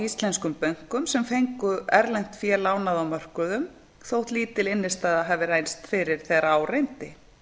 íslenskum bönkum sem fengu erlent fé lánað á mörkuðum þótt lítil innstæða hafi reynst fyrir þegar á reyndi